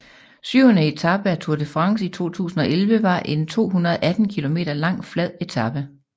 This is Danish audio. Syvende etape af Tour de France 2011 var en 218 km lang flad etape